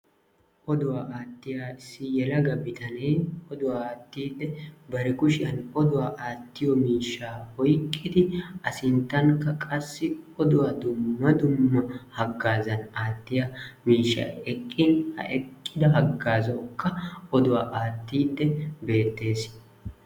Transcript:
Oduwa attiya issi yelaga biittane oduwaa attidi bari kushiyan oduwaa attiyo miishsha oyqqidi a sinttanka qassi oduwaa dumma dumma haggazan attiya miishshay eqqin; ha eqqida haggazawuka oduwaa attidi betees.